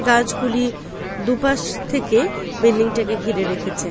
গাছগুলি দুপাশ থেকে বিল্ডিং টাকে ঘিরে রেখেছে।